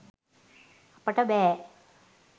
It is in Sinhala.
අපට බෑ